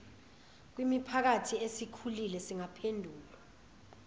kwimiphakathi esikhulile zingaphendulwa